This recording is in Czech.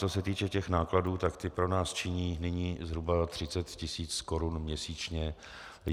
Co se týče těch nákladů, tak ty pro nás činí nyní zhruba 30 tisíc korun měsíčně.